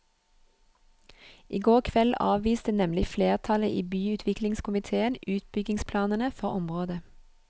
I går kveld avviste nemlig flertallet i byutviklingskomitéen utbyggingsplanene for området.